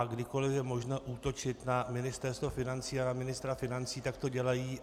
A kdykoli je možno útočit na Ministerstvo financí a na ministra financí, tak to dělají.